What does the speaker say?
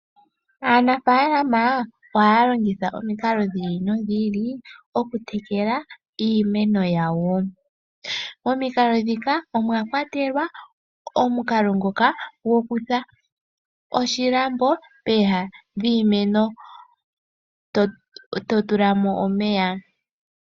Aanafaalama oha ya longitha omikalo dhi ili nodhi ili dhoku tekela iimeno yawo, omikalo dhika omwa kwatelwa, omukalo ngoka gokutha oshilambo pooha dhiimeno ee ta mu tulwa omeya.